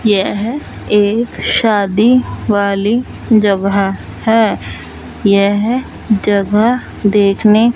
यह एक शादी वाली जगह है यह जगह देखने--